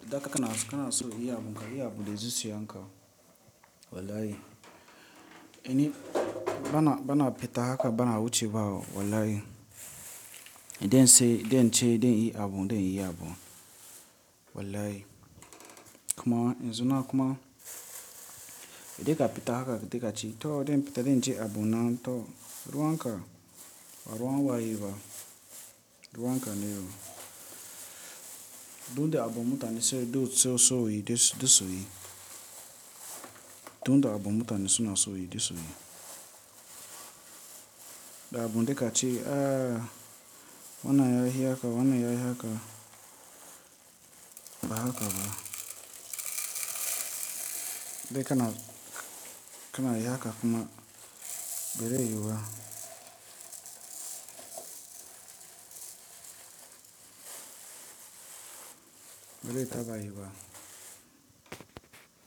Da ka kana so, kana so yi ya abun ka, yi ya abun da zuciyan ka. Wallahi. Ini bana, bana fita haka bana wuce ba. Wallahi. Idan sai, idan ce, idan yi abun, idan yi abun. Wallahi. Kuma, in suna kuma idan ka fita haka, idan ka ci, to idan fita, idan ce abun nan to ruwan ka, ba ruwan waye ba. Ruwan ka ne. Dun da abun mutane sai duk so so yi, duk so yi. Dun da abun mutane suna so yi, duk so yi. Da abun dai ka ci, ah wanna yayi haka, wanna yayi haka. Ba haka ba. Dai kana, kana yi haka kuma bere yu ba. Bere taɓayi ba.